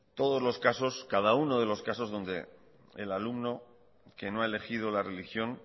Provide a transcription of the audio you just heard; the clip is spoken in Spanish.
todos los casos cada uno de los casos donde el alumno que no ha elegido la religión